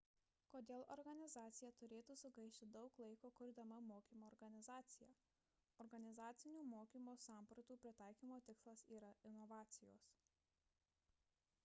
kodėl organizacija turėtų sugaišti daug laiko kurdama mokymo organizaciją organizacinių mokymo sampratų pritaikymo tikslas yra inovacijos